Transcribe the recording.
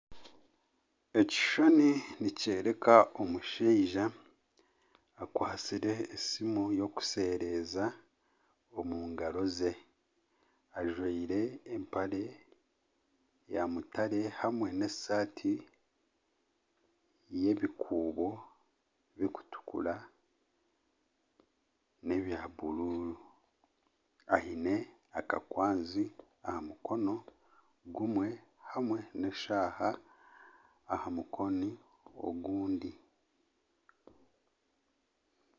Omushaija akwatsire esimu yokushereeza omu ngaro ze ajwaire empare ya mutare hamwe hamwe n'esaati yebikuubo birikutukira n'ebya bururu aine akakwanzi aha mukono gumwe hamwe neshaaha aha mukono ogundi